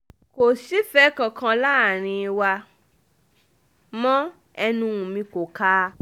kò sífẹ̀ẹ́ kankan láàrín wa um mọ́ ẹnu mi kò um kà á